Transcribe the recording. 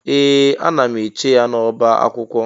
Ee! Ana m eche ya n'ọbá akwụkwọ.